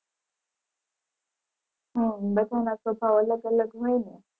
હમ બધાના સ્વભાવ અલગ અલગ હોય ને.